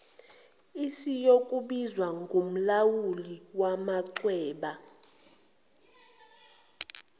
esiyokubizwa ngomlawuli wamachweba